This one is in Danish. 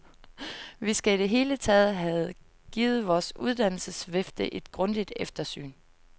Vi skal i det hele taget have givet vores uddannelsesvifte et grundigt eftersyn.